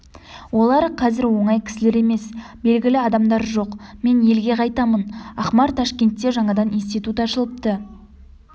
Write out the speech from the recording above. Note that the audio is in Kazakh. олар қазір оңай кісілер емес белгілі адамдар жоқ мен елге қайтамын ақмар ташкентте жаңадан институт ашылыпты